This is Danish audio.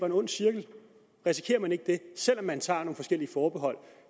en ond cirkel selv om man tager nogle forskellige forbehold